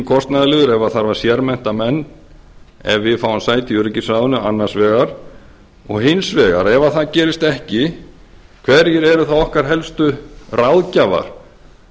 kostnaðarlið ef það þarf að sérmennta menn ef við fáum sæti í öryggisráðinu annars vegar og hins vegar ef það gerist ekki hverjir eru þá okkar helstu ráðgjafar